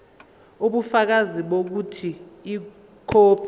ubufakazi bokuthi ikhophi